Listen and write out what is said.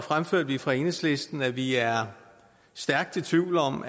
fremførte vi fra enhedslistens side at vi er stærkt i tvivl om